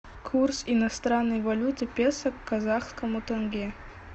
курс иностранной валюты песо к казахскому тенге